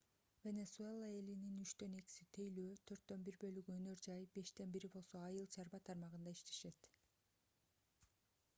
венесуэла элинин үчтөн экиси тейлөө төрттөн бир бөлүгү өнөр жай бештен бири болсо айыл чарба тармагында иштешет